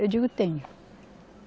Eu digo, tenho.